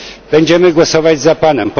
Będziemy głosować za Panem.